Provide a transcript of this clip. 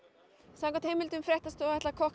samkvæmt heimildum fréttastofu ætlar